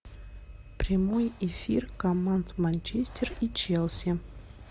прямой эфир команд манчестер и челси